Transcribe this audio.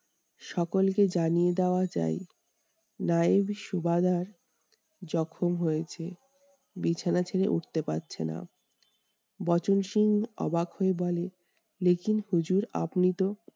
সকলকে জানিয়ে দেওয়া চাই, নায়েব সুবাদার জখম হয়েছেন বিছানা ছেড়ে উঠতে পারছে না। বচনসুর অবাক হয়ে বলে হুজুর